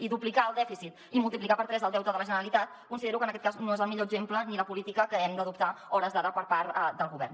i duplicar el dèficit i multiplicar per tres el deute de la generalitat considero que en aquest cas no és el millor exemple ni la política que hem d’adoptar a hores d’ara per part del govern